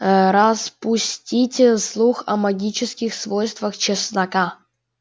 ээ распустите слух о магических свойствах чеснока